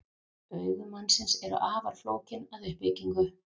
Augu mannsins eru afar flókin að uppbyggingu.